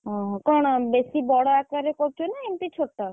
ଓହୋଃ କଣ ବେଶୀ ବଡ ଆକାରରେ କରୁଚ ନା ଏମିତି ଛୋଟ?